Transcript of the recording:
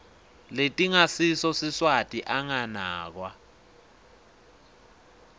letingasiso siswati anganakwa